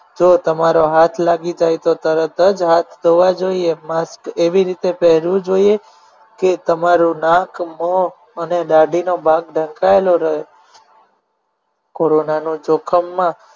જો તમારો હાથ લાગી જાય તો તરત જ હાથ ધોવા જોઈએ mask એવી રીતે પહેરવું જોઈએ કે તમારું નાક મોં અને દાઢી નો ભાગ ઢંકાયેલો રહે કોરોના નો જોખમમાં